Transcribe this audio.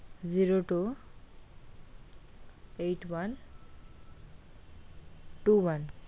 Zero two eight onetwo one.